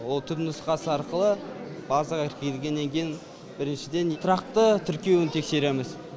ол түпнұсқасы арқылы базаға кіргеннен кейін біріншіден тұрақты тіркеуін тексереміз